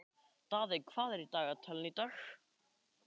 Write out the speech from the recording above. Daðey, hvað er í dagatalinu í dag?